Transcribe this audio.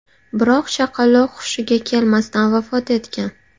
Biroq chaqaloq hushiga kelmasdan vafot etgan.